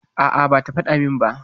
A', bata faɗa min ba.